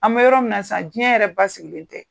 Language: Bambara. An bɛ yɔrɔ minna sisan diɲɛ yɛrɛ basigilen tɛ.